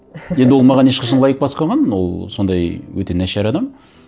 енді ол маған ешқашан лайк баспаған ол сондай өте нашар адам